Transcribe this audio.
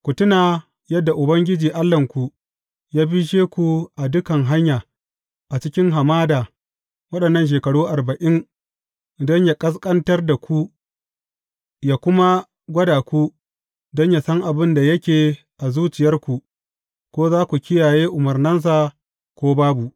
Ku tuna yadda Ubangiji Allahnku ya bishe ku a dukan hanya, a cikin hamada waɗannan shekaru arba’in, don yă ƙasƙantar da ku, yă kuma gwada ku don yă san abin da yake a zuciyarku, ko za ku kiyaye umarnansa, ko babu.